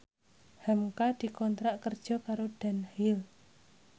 hamka dikontrak kerja karo Dunhill